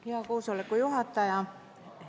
Hea koosoleku juhataja!